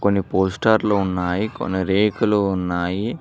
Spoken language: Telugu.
కొన్ని పోస్టర్లు ఉన్నాయి కొన్ని రేకులు ఉన్నాయి.